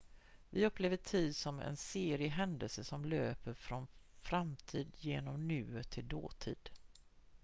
vi upplever tid som en serie händelser som löper från framtid genom nuet till dåtid